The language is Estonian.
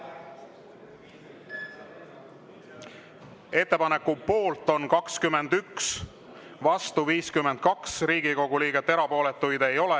Ettepaneku poolt on 21, vastu 52 Riigikogu liiget, erapooletuid ei ole.